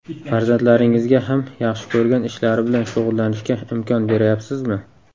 Farzandlaringizga ham yaxshi ko‘rgan ishlari bilan shug‘ullanishga imkon berayapsizmi?